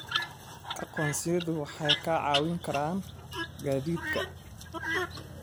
Aqoonsiyadu waxay kaa caawin karaan gaadiidka.